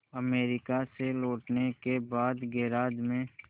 America से लौटने के बाद गैराज में